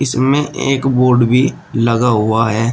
इसमें एक बोर्ड भी लगा हुआ है।